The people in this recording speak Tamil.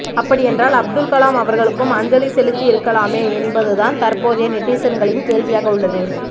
அப்படியென்றால் அப்துல்கலாம் அவர்களுக்கும் அஞ்சலி செலுத்தியிருக்கலாமே என்பதுதான் தற்போதைய நெட்டிசன்களின் கேள்வியாக உள்ளது